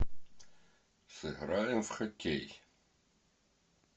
сыграем в хоккей